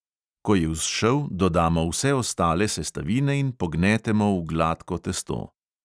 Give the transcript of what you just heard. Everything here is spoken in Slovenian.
Ko je vzšel, dodamo vse ostale sestavine in pognetemo v gladko testo.